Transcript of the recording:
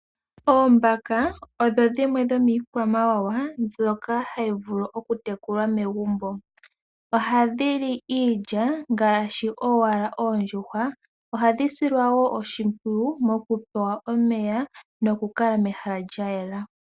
Oombaka odho dhimwe dhomiikwamawawa mbyoka hayi vulu okutekulwa megumbo. Ohadhili iilya, ngaashi owala oondjuhwa. Ohadhi silwa wo oshimpwiyu, mokupewa omeya nokukala mehala lyayela.